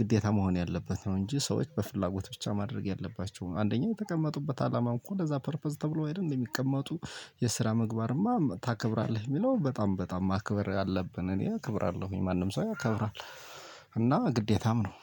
ግዴታ መሆን ያለበት ነው። እንጂ ሰዎች በፍላጎት ብቻ ማድረግ ያለባቸው አንደኛ የተቀመጡበት አላማ እኮ ለዛ ፐርፐዝ ተብሎ አይደል እንዴ ሚቀመጡ። የስራ ምግባርማ ታከብራለህ ሚለው በጣም በጣም ማክበር አለብን እኔ አክብራለሁኝ ማንም ሰው ያከብራል እና ግዴታም ነው።